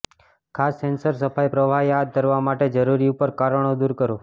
ખાસ સેન્સર સફાઈ પ્રવાહી હાથ ધરવા માટે જરૂરી ઉપર કારણો દૂર કરો